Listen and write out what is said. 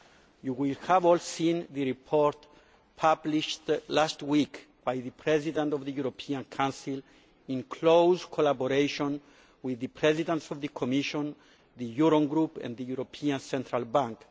You will all have seen the report published last week by the President of the European Council in close collaboration with the Presidents of the Commission, the Eurogroup and the European Central Bank.